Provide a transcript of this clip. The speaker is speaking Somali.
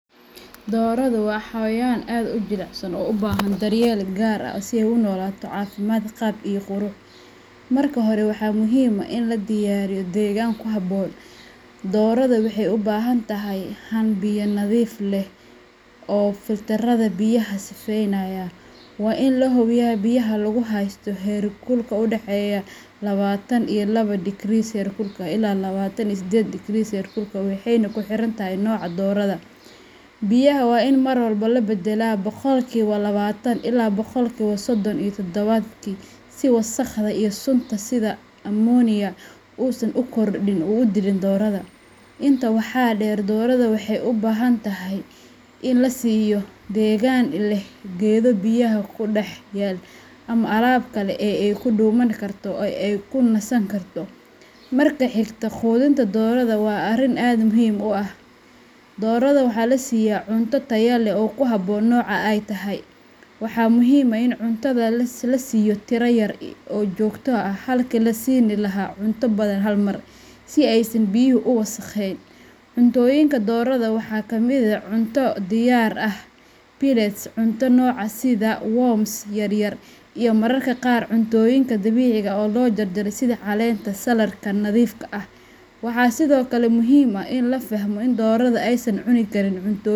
Dooradu waa xawayaan aad u jilicsan oo u baahan daryeel gaar ah ,si ay u noolato cafimaad qaab iyo qurux marka hore waxaa muhim ah in la diyaaariyo degaan ku habboon ,doorada waxeey u baahan tahay han biya nadiif leh oo filter ada biyaha sifeynaaya ,waa in la hubiyaa biyaha lagu haysto heerkulka u dhaxeeya lawatan iyo lawa degree seerkulka ilaa lawatan iyo sedded degree seerkulka ,waxeyna ku xiran tahay nooca doorada . Biyaha waa in marwalba la baddalaa boqolki no lawaatan ilaa boqolkiba soddon tawaadkii ,si wasaqda iyo sunta sida ammonia uu san u khordhin uu u dilin doorada . Intaa wxaa dheer dorrada waxeey u baahan tahay in la siiyo deegaan leh geedo biyaha ku dhex yaal ama alaab kale ee ay ku dhuumani karto oo ay ku nasan karto . Marka xigto quudinta doorada waa arrin aad muhiimu ah ,doorada waxaa la siyaa cunta ataya leh oo ku habboon nooca ay tahay. Waxaa muhiim ah in cuntada la siiyo tira yar oo joogto ah halka la siini lahaa cunto badan hal mar. Si aysan biyuhu u wasakheyn cuntooyinka dorrada waxaa kamid eh cunto diyaar ah, pellets cunto nooca sida warms yaryar iyo mararka qaar cuntooyinka dabiciga oo loo jarjaro sida caleenta ,saladhka nadiifka ah ,waxaa sidoo kale muhiim ah in la fahmo in doorada aysan cuni karin cuntooyin.